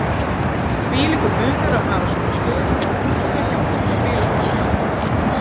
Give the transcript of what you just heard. Þvílíkur munur að hafa svona stuðning og það hjálpar spilamennskunni.